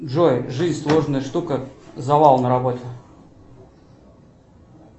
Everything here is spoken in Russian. джой жизнь сложная штука завал на работе